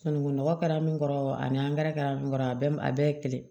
Sunungunɔgɔ kɛra min kɔrɔ ani kɛra mun kɔrɔ a bɛ a bɛɛ ye kelen